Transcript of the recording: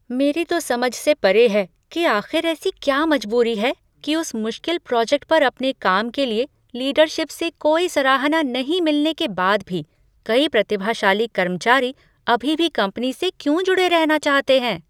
मेरी तो समझ से परे है कि आख़िर ऐसी क्या मजबूरी है कि उस मुश्किल प्रोजेक्ट पर अपने काम के लिए लीडरशिप से कोई सराहना नहीं मिलने के बाद भी, कई प्रतिभाशाली कर्मचारी अभी भी कंपनी से क्यों जुड़े रहना चाहते हैं।